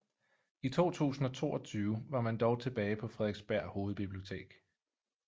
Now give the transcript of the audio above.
I 2022 var man dog tilbage på Frederiksberg Hovedbibliotek